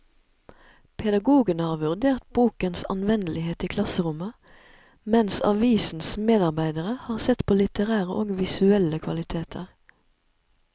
Pedagogene har vurdert bokens anvendelighet i klasserommet, mens avisens medarbeidere har sett på litterære og visuelle kvaliteter.